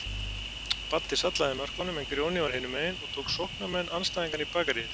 Baddi sallaði inn mörkunum en Grjóni var hinumegin og tók sóknarmenn andstæðinganna í bakaríið.